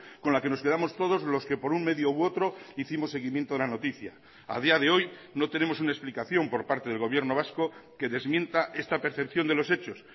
con la que nos quedamos todos los que por un medio u otro hicimos seguimiento de la noticia a día de hoy no tenemos una explicación por parte del gobierno vasco que desmienta esta percepción de los hechos